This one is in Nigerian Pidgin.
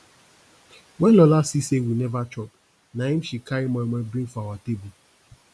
when lola see say we never chop na im she carry moimoi bring for our table